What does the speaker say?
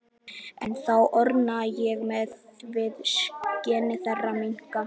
Ennþá orna ég mér við skin þeirra minninga.